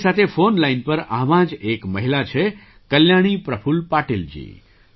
મારી સાથે phone line પર આવાં જ એક મહિલા છે કલ્યાણી પ્રફુલ્લ પાટીલ જી